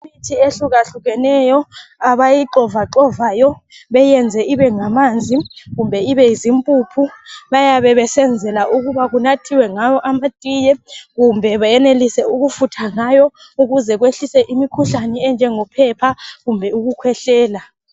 Imithi ehlukahlukeneyo abayixovaxovayo beyiyenze ibe ngamanzi kumbe ibe zimpuphu, bayabe besenzela ukuba kunathiwe ngawo amatiye kumbe beyenelise ukufutha ngawo ukuze kwehlise imikhuhlane enjengophepha kumbe ukukhwehlela.